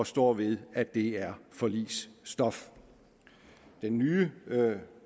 står ved at det er forligsstof den nye